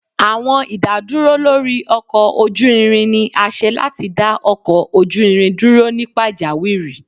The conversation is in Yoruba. Awọn idaduro lori ọkọ oju irin ni a ṣe lati da ọkọ oju irin duro ni pajawiri.